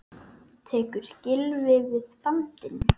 Tekur Gylfi við bandinu?